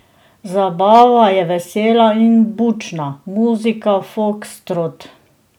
Zabava je vesela in bučna, muzika, fokstrot.